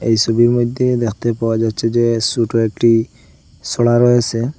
এই ছবির মইধ্যে দেখতে পাওয়া যাচ্ছে যে ছোটো একটি ছড়া রয়েসে।